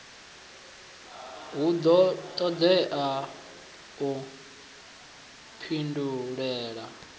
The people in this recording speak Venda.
hu do todea u pindulela